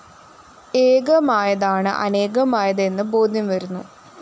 ഏകമായതാണ് അനേകമായത് എന്ന് ബോധ്യം വരുന്നു